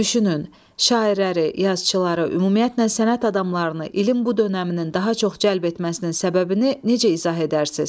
Düşünün, şairləri, yazıçılara, ümumiyyətlə sənət adamlarını ilin bu dönəminin daha çox cəlb etməsinin səbəbini necə izah edərsiniz?